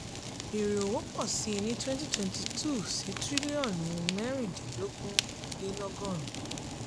èrè òwò pọ̀ síi ní twenty twenty two sí triliọ̀nù mẹ́rindínlogun le lọ́gọ́run.